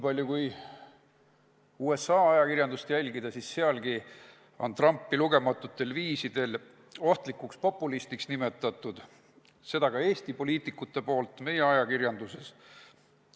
Kui USA ajakirjandust jälgida, siis näeme, et sealgi on Trumpi lugematutel viisidel ohtlikuks populistiks nimetatud, ja seda on teinud ka Eesti poliitikud meie ajakirjanduses.